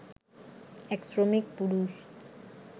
এক শ্রমিক-পুরুষ